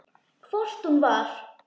Hvort hún var!